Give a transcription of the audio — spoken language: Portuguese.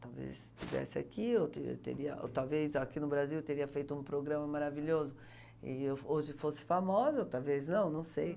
Talvez estivesse aqui, ou te teria talvez aqui no Brasil teria feito um programa maravilhoso e hoje fosse famosa, talvez não, não sei.